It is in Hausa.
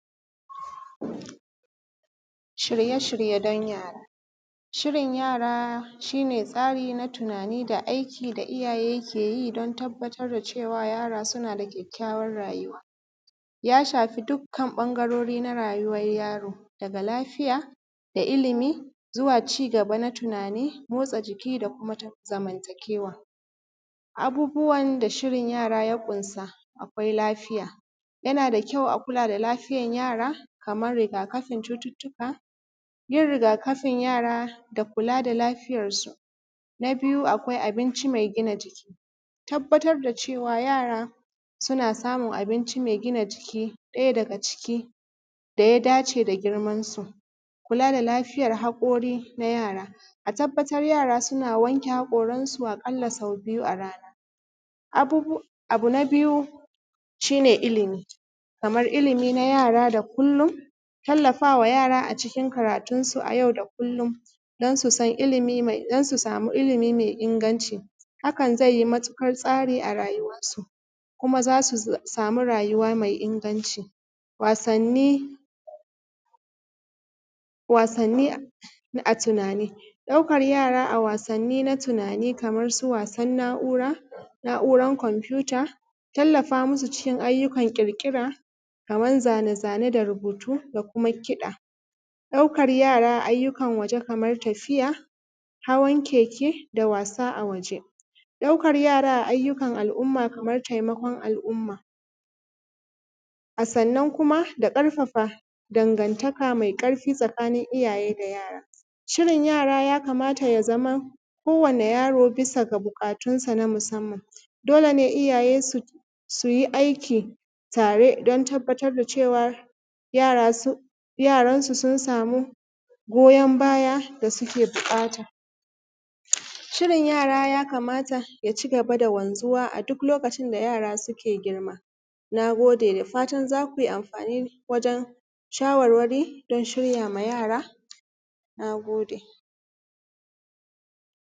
Shirye-shirye don yara. Shirin yara shi ne tsari na tunani da aiki da iyaye ke yi don tabbatar da cewa yara suna da kyakkyawan rayuwa. Ya shafi dukkan ɓangarori na rayuwar yaro, daga lafiya, da ilimi; zuwa cigaba na tunani; motsa jiki da kuma ta zamantakewa. Abubuwan da shirin yara ya ƙunsa, akwai lafiya. Yana da kyau a kula da lafiyar yara, kamar riga-kafin cututtuka. Yin rigakafin yara da kula da lafiyarsu. Na biyu, akwai abinci mai gina jiki. Tabbatar da cewa yara suna samun abinci mai gina jiki, ɗaya daga ciki da ya dace da girmansu. Kula da lafiyar haƙori na yara. A tabbatar yara suna wanke haƙorinsu a ƙalla sau biyu a rana. Abubu, abu na biyu, sh ine ilimi. Kamar ilimi na yara da kullum, tallafa wa yara a cikin karatunsu a yau da kullum, don su san, don su samu ilimi mai inganci. Hakan zai yi matuƙar tsari a rayuwarsu, kuma za su samu rayuwa mai inganci. Wasanni, wasanni a tunani. Ɗaukar yara a wasanni na tunani, kamar su wasan na'ura, na'uran kwamfuta, tallafa musu cikin ayyukan ƙirƙira, kamar zane-zane da rubutu da kuma kiɗa; ɗaukar yara ayyukan waje kamar tafiya, hawan keke, da wasa a waje; ɗaukar yara a ayyukan al'umma kamar taimakon al'umma. A sannan kuma da karfafa dangantaka mai karfi tsakanin iyaye da yara. Shirin yara ya kamata ya zama, kowane yaro bisa ga buƙatunsa na musamman. Dole ne iyaye su yi aiki tare don tabbatar da cewa, yara sun, yaransu sun samu goyan baya da suke buƙata. Shirin yara ya kamata ya cigaba da wanzuwa a duk lokacin da yara suke girma. Na gode. Da fatan za kui amfani wajen shawarwari don shirya ma yara, na gode.